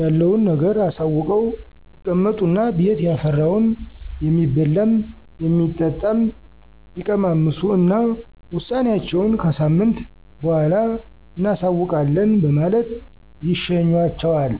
ያለዉን ነገር አሳውቀው ይቀመጡ እና ቤት ያፈራውን የሚበላም, የሚጠጣም ይቀማምሱ እና ውሳኔአቸውን ከሳምንት በኋላ እናሳዉቃለን በማለት ይሸኟቸዋል።